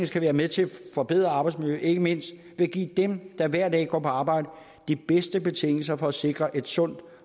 skal være med til at forbedre arbejdsmiljøet ikke mindst ved at give dem der hver dag går på arbejde de bedste betingelser for at sikre et sundt